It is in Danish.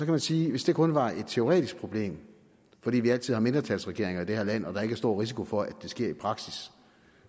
man sige at hvis det kun var et teoretisk problem fordi vi altid har mindretalsregeringer i det her land og der ikke er stor risiko for at det sker i praksis